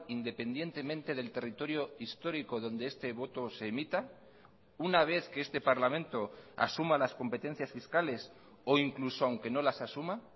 independientemente del territorio histórico donde este voto se emita una vez que este parlamento asuma las competencias fiscales o incluso aunque no las asuma